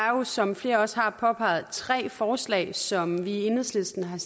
jo som flere også har påpeget tre forslag som vi i enhedslisten har